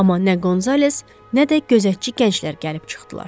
Amma nə Qonzales, nə də gözətçi gənclər gəlib çıxdılar.